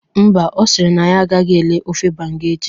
Mba, Ọ sịrị na ya agahi elee ofe banga echi